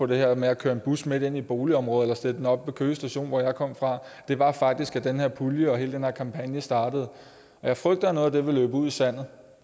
det her med at køre en bus midt ind i et boligområde eller sætte den oppe ved køge station hvor jeg kom fra var faktisk at den her pulje og hele den her kampagne startede jeg frygter at noget af det vil løbe ud i sandet